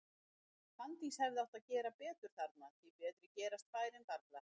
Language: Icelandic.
Fanndís hefði átt að gera betur þarna, því betri gerast færin varla.